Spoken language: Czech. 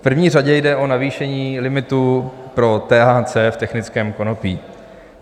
V první řadě jde o navýšení limitu pro THC v technickém konopí.